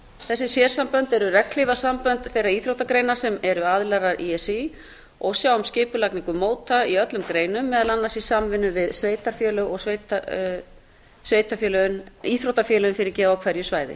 þessi sérsambönd eru regnhlífarsambönd þeirra íþróttagreina sem eru aðilar að í s í og sjá um skipulagningu móta í öllum greinum meðal annars í samvinnu við íþróttafélögin á hverju svæði